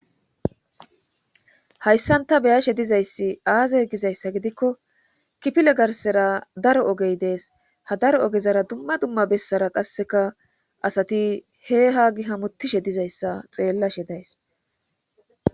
hayssanta beyashe dizayssi aaze gizayssa gidikko kipile garsera daro ogey dees ha daro ogezara dumma dumma bessara qasseka asati he haagi hamutishe dizayssa xeellashe days